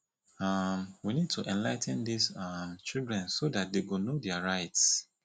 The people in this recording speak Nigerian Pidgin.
um we need to enligh ten dis um children so dat dey go know their rughts